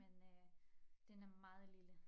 Men øh den er meget lille